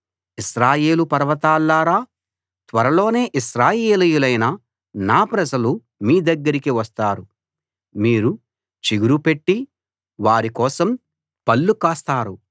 ఇశ్రాయేలు పర్వతాల్లారా త్వరలోనే ఇశ్రాయేలీయులైన నా ప్రజలు మీ దగ్గరికి వస్తారు మీరు చిగురుపెట్టి వారి కోసం పళ్ళు కాస్తారు